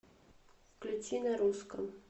включи на русском